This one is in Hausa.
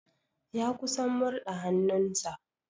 Ya kusan murɗa hannun sa.